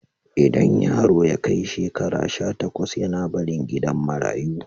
Idan yaro ya kai shekara sha takwas yAna barin gidan marayu